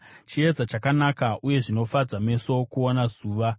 Chiedza chakanaka, uye zvinofadza meso kuona zuva.